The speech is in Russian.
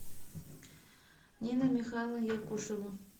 нина михайловна якушева